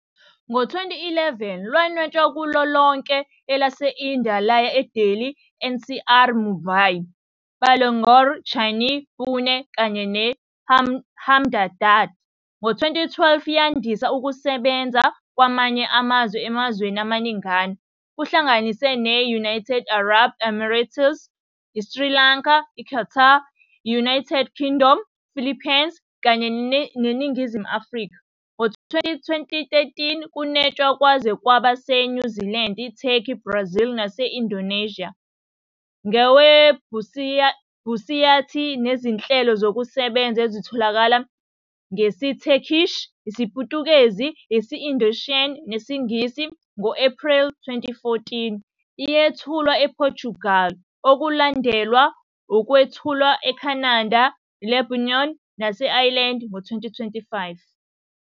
Ngo-2011, lanwetshwa kulo lonke elaseNdiya laya eDelhi NCR, Mumbai, Bangalore, Chennai, Pune kanye ne- Ahmedabad. Ngo-2012, yandisa ukusebenza kwamanye amazwe emazweni amaningana, kuhlanganise ne- United Arab Emirates, i- Sri Lanka, Qatar, - United Kingdom, - Philippines, kanye neNingizimu Afrika. Ngo-2013, kunwetshwe kwaze kwaba se- New Zealand, Turkey, Brazil nase- Indonesia, ngewebhusayithi nezinhlelo zokusebenza ezitholakala ngesi- Turkish, isiPutukezi, isi- Indonesian nesiNgisi. Ngo-April 2014, yethulwa ePortugal, okwalandelwa ukwethulwa eCanada, Lebanon nase- Ireland ngo-2015.